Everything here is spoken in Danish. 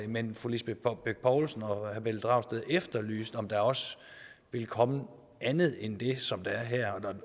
men fru lisbeth bech poulsen og herre pelle dragsted efterlyste om der også ville komme andet end det som der er her